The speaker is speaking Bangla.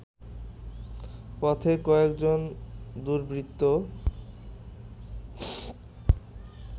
পথে কয়েকজন দুর্বৃত্ত